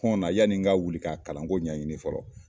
hɔnna yani n ka wuli ka a kalanko ɲɛɲini fɔlɔ.